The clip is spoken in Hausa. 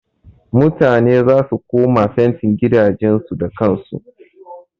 Mutane zasu koma fentin gidajen su da kan su.